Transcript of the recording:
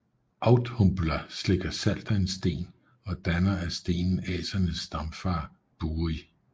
Audhumla slikker salt af en sten og danner af stenen Asernes stamfader Buri